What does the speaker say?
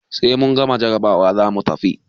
Sai mun gama jarabawa zamu tafi.